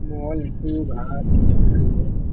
Mall के बाहर खड़ी है।